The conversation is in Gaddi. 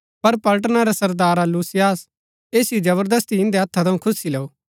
पर पलटना रै सरदार लूसियास ऐसिओ जबरदस्ती इन्दै हत्था थऊँ खुस्सी लैऊ